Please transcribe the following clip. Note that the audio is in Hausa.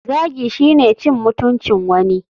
Zagi shine cin mutuncin wani.